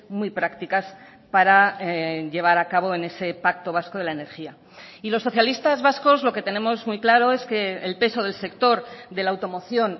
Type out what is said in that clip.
muy prácticas para llevar a cabo en ese pacto vasco de la energía y los socialistas vascos lo que tenemos muy claro es que el peso del sector de la automoción